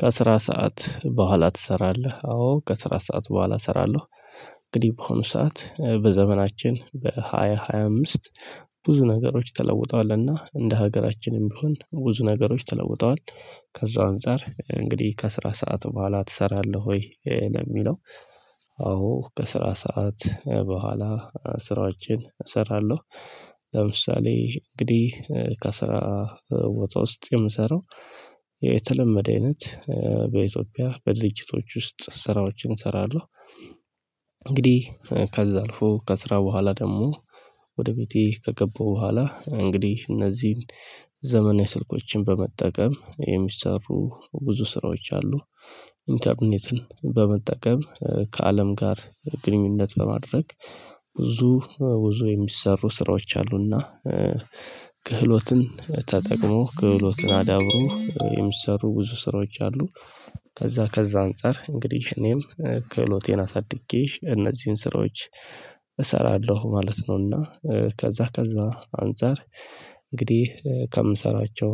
ከስራ ሰዓት በኋላ ትሰራለህ አዎ ከስራ ሰዓት በኋላ እሰራለሁ። እንግዲህ ባሆኑ ሰዓት በዘመናችን በሃያ ሃያ አምስት ብዙ ነገሮች ተለውጧልና እንደ ሀገራችንም ቢሆን ብዙ ነገሮች ተለውጠዋል። ከዛ አንፃር እንግዲህ ከስራ ሰዓት በኋላ ትሰራለህ ወይ? ለሚለው አዎ በስራ ሰዓት በኋላ ስራዋችን እሰራለሁ። ለምሳሌ እንግዲህ ከስራ ቦታ ውስጥ የምሰራው የተለመደ አይነት በኢትዮጵያ በድርጅቶች ውስጥ ስራዎችን እሰራለሁ። እንግዲህ ከዛ አልፎ ከስራ በኋላ ደግሞ ወደ ቤቴ ከገባው በኋላ እንግዲህ እነዚህን ዘመናዊ ስልኮችን በመጠቀም የሚሰሩ ብዙ ስራዎች አሉ። ኢንተርኔትን በመጠቀም ከአለም ጋር ግንኙነት ለማድረግ ብዙ ብዙ የሚሰሩ ስራዎች አሉና። ክህሎትን ተጠቅሞ ክህሎትን አዳብሮ የሚሰሩ ብዙ ስራዎች አሉ። ከዛ ከዛ አንፃር እንግዲህ እኔም ክህሎቴን አሳድጌ እነዚህን ስራዎች እሰራለሁ ማለት ነውና። ከዛ ከዛ አንፃር እንግዲህ ከምሰራቸው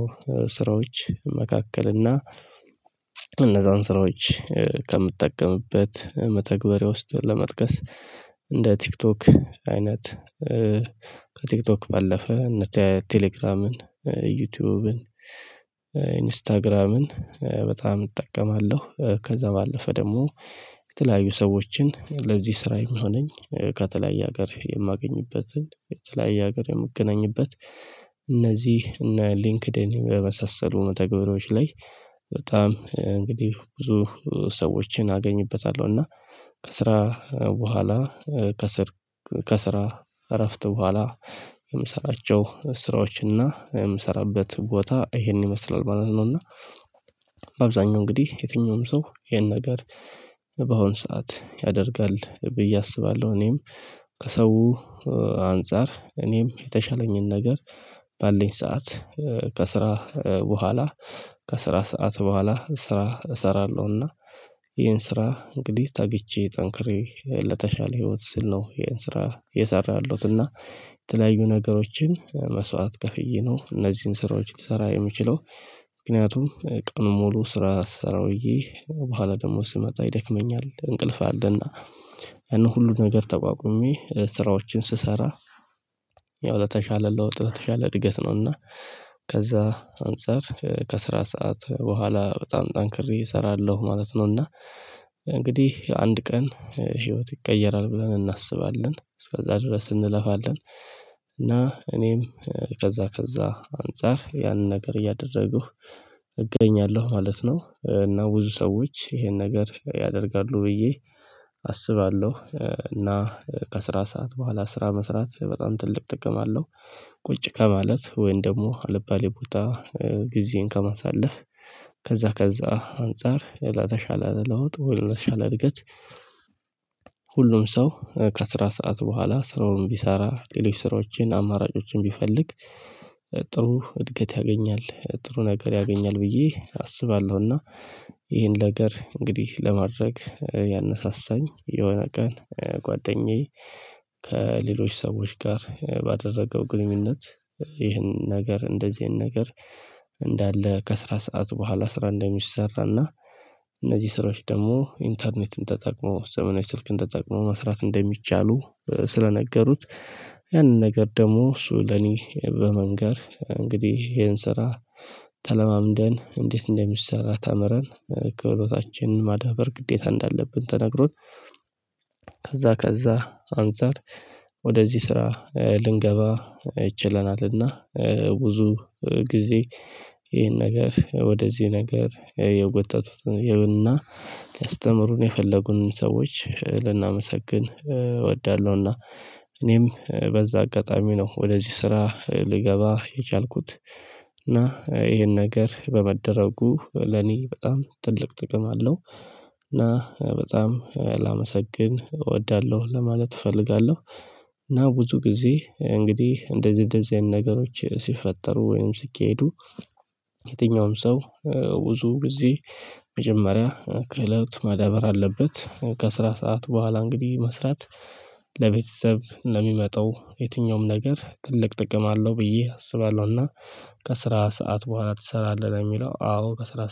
ስራዎች መካከል እና እነዛን ስራዎች ከምጠቀምበት መተግበርያ ውስጥ ለመጥቀስ እንደ ቲክቶክ አይናት። ከቲክቶክ ባለፈ እነ ቴሌግራምን ዩቲዩብን ኢንስታግራምን በጣም እጠቀማለሁ። ከዛ ባለፈ ደግሞ የተለያዩ ሰዎችን ለዚህ ስራ የሚሆነኝ ከተለያየ ሀገር የማገኝበትን ከተለያየ ሀገር የምገናኝበት እነዚህ እነ ሊንክደን በመሳሰሉ መተገቢያዎች ላይ በጣም እንግዲህ ብዙ ሰዎችን አገኝበታለሁ። እና ከስራ በኋላ ከስር ከስራ እረፍት በኋላ የምሰራቸው ስራዎችና የምሰራበት ቦታ ይሄን ይመስላል ማለት ነውና። በአብዛኛው እንግዲህ የትኛውም ሰው ይሄን ነገር በአሁን ሰዓት ያደርጋል ብዬ አስባለሁ። እኔም ከሰው አንፃር እኔም የተሻለኝን ነገር ባለኝ ሰዓት ከስራ በኋላ ከስራ ሰዓት በኋላ ስራ እሰራለሁና። ይሄን ስራ እንግዲህ ተግቼ ጠንክሬ ለተሻለ ህይወት ስል ነው። ይሄን ስራ የእየሰራሁ ያለውት እና የተለያዩ ነገሮችን መስዕዋት ከፍዬ ነው እነዚህን ስራዎች ልትሰራ የምችለው። ምክንያቱም ቀኑን ሙሉ ስራ ስሰራ ውዬ በኋላ ደግሞ ስመጣ ይደክመኛል እንቅልፍ አለና። እነ ሁሉን ነገር ተቋቁሜ ስራዎችን ስሰራ ያው ለተሻለ ለውጥ ለተሻለ እድገት ነው። እና ከዛ አንፃር ከስራ ሰዓት በኋላ በጣም ጠንክሬ እሰራለሁ ማለት ነው። እና እንግዲህ አንድ ቀን ህይወት ይቀየራል ብለን እናስባለን እስከዛ ድረስ እንለፋለን። እና እኔም ከዛ ከዛ አንፃር ያንን ነገር እያደረጉ እገኛለሁ ማለት ነው። እና ብዙ ሰዎች ይሄን ነገር ያደርጋሉ ብዬ አስባለሁ። እና ከስራ ሰዓት በኋላ ስራ መስራት በጣም ትልቅ ጥቅማ አለው። ቁጭ ከማለት ወይን ደግሞ አልባሌ ቦታ ጊዜን ከማሳለፍ ከዛ ከዛ አንፃር ላተሻለ ለወጥ ለተሻለ እድገት። ሁሉም ሰው ከስራ ሰዓት በኋላ ስራውን ቢሰራ ሌሎች ስራዎችን አማራጮችን ቢፈልግ ጥሩ እድገት ያገኛል። ጥሩ ነገር ያገኛል ብዬ አስባለሁና። ይሄን ነገር እንግዲህ ለማድረግ ያነሳሳኝ የሆነ ቀን ጓደኛዬ ከሌሎች ሰዎች ጋር ባደረገው ግንኙነት ይህንን ነገር እንደዚህ አይነት ነገር እንዳለ ከስራ ሰዓት በኋላ ስራ እንደሚሰራና። እነዚህ ስራዎች ደግሞ ኢንተርኔትን ተጠቅሞ ዘመናዊ ስልክ ተጠቅሞ መስራት እንደሚቻሉ ስለነገሩት። ያንን ነገር ደግሞ እሱ ለኔ በመንገር እንግዲህ ይሄን ስራ ተለማምደን እንዴት እንደሚሰራ ተምረን ክህሎታችን ማዳበር ግዴታ እንዳለብን ተነግሮን። ከዛ ከዛ አንፃር ወደዚህ ስራ ልንገባ ችለናል። እና ብዙ ግዜ ይሄን ነገር ወደዚህ ነገር የጎተቱትን እና ሊያስተምሩን የፈለጉንን ሰዎች ልናመሰግን እወዳለሁና። እኔም በዛ አጋጣሚ ነው ወደዚህ ስራ ልገባ የቻልኩት። እና ይሄን ነገር በመደረጉ ለኔ በጣም ትልቅ ጥቅም አለው። እና በጣም ላመሰግን እወዳለሁ ለማለት እፈልጋለሁ። እና ብዙ ጊዜ እንግዲህ እንደዚህ እንደዚህ አይነት ነገሮች ሲፈጠሩ ወይም ሲካሄዱ። የትኛውም ሰው ብዙ ጊዜ መጀመሪያ ክህሎት ማዳበር አለበት ከስራ ሰዓት በኋላ እንግዲህ መስራት። ለቤተሰብ ለሚመጣው የትኛውም ነገር ትልቅ ጥቅም አለው ብዬ አስባለሁ። እና ከስራ ሰዓት በኋላ ትሰራለህ የሚለው አዎ ከስራ